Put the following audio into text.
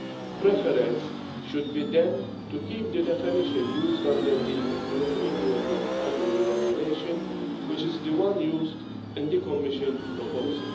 The preference should be then to keep the definition used under the European Union IUU Regulation, which is the one used in the Commission proposal.